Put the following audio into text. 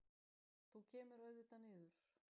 Þú kemur auðvitað niður.